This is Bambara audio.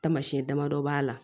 Tamasiyɛn damadɔ b'a la